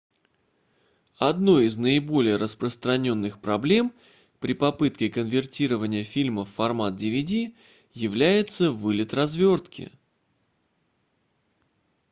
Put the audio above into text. одной из наиболее распространённых проблем при попытке конвертирования фильма в формат dvd является вылет развертки